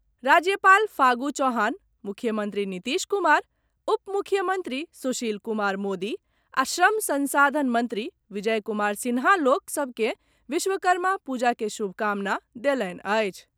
राज्यपाल फागु चौहान, मुख्यमंत्री नीतीश कुमार, उपमुख्यमंत्री सुशील कुमार मोदी आ श्रम संसाधन मंत्री विजय कुमार सिन्हा लोक सभ के विश्वकर्मा पूजा के शुभकामना देलनि अछि।